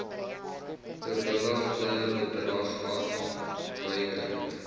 bewilligde bedrag afwyking